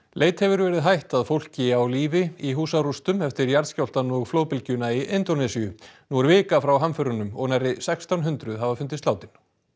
leit hefur verið hætt að fólki á lífi í húsarústum eftir jarðskjálftann og flóðbylgjuna í Indónesíu er vika frá hamförunum og nærri sextán hundruð hafa fundist látin